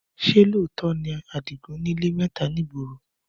Ṣé lóòótọ́ ni Àdìgún nílé mẹ́ta ní ìgboro?